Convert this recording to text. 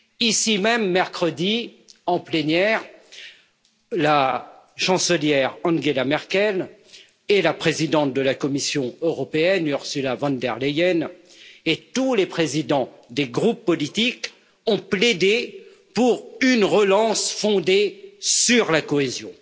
Ici même, mercredi, en plénière, la chancelière Angela Merkel et la présidente de la Commission européenne, Ursula von der Leyen et tous les présidents des groupes politiques ont plaidé pour une relance fondée sur la cohésion.